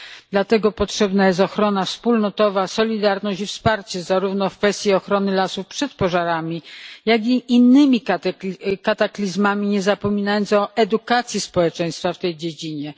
Dlatego potrzebna jest ochrona wspólnotowa, solidarność i wsparcie zarówno w kwestii ochrony lasów przed pożarami, jak i innymi kataklizmami, nie zapominając o edukacji społeczeństwa w tej dziedzinie.